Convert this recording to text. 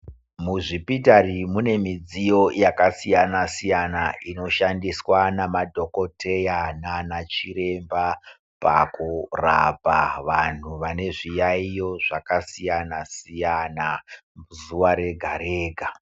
Muzvipitari mune midziyo yakasiyana-siyana inoshandiswa nama dhokodheya naanana chiremba pakurapa vantu vane zviyaiyo zvakasiyana-siyana zuva rega- rega.